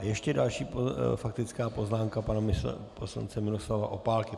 A ještě další faktická poznámka pana poslance Miroslava Opálky.